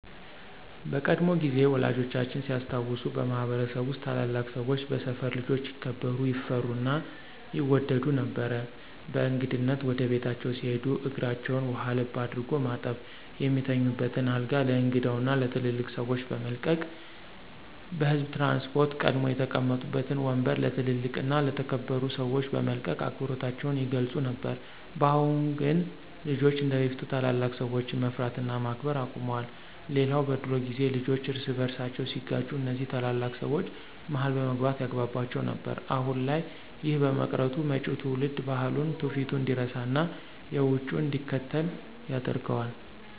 በቀድሞ ጊዜ ወላጆቻችን ሲያስታውሱ በማህበረሰብ ውስጥ ታላላቅ ሰወች በሰፈር ልጆች ይከበሩ፣ ይፈሩ እና ይወደዱ ነበር። በእንግድነት ወደ ቤታቸው ሲሄዱ እግራቸውን ውሃ ለብ አድርጎ በማጠብ፣ የሚተኙበትን አልጋ ለእንግዳው እና ለትልልቅ ሰወች በመልቀቅ፤ በህዝብ ትራንስፖርት ቀድመው የተቀመጡበትን ወምበር ለ ትልልቅ እና የተከበሩ ሰወች በመልቀቅ አክብሮታቸውን ይገልፁ ነበር። በአሁን ግን ልጆች እንደበፊት ታላላቅ ሰወችን መፍራት እና ማክበር አቁመዋል። ሌላው በድሮ ጊዜ ልጆች እርስ በርሳቸው ሲጋጩ እነዚ ታላላቅ ሰወች መሀል በመግባት ያግቧቧቸው ነበር። አሁን ላይ ይህ በመቅረቱ መጪው ትውልድ ባህሉን፣ ትውፊቱን እንዲረሳና የውጩን እንዲከተል ያደርገዋል።